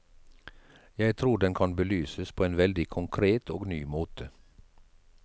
Jeg tror den kan belyses på en veldig konkret og ny måte.